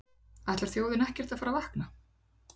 Ætlar þjóðin ekkert að fara að vakna?